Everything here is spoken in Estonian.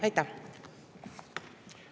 Aitäh!